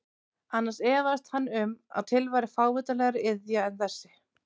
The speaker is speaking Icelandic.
Annars efaðist hann um að til væri fávitalegri iðja en þessi.